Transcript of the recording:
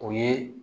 O ye